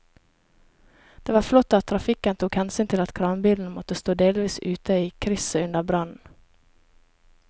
Det var flott at trafikken tok hensyn til at kranbilen måtte stå delvis ute i krysset under brannen.